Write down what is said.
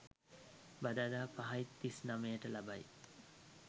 බදාදා 05.39 ට ලබයි.